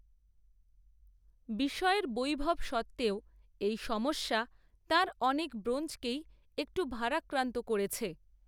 বিষয়ের বৈভব সত্ত্বেও, এই সমস্যা তাঁর অনেক ব্রোঞ্জকেই একটু ভারাক্রান্ত করেছে